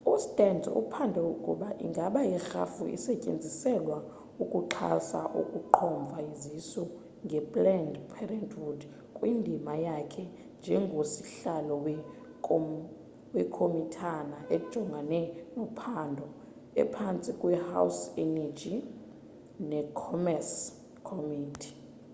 ustearns uphanda ukuba ingaba irhafu isetyenziselwa ukuxhasa ukuqhomfa izisu nge-planned parenthood kwindima yakhe njengosihlalo wekomitana ejongene nophando ephantsi kwe-house energy ne commerce committe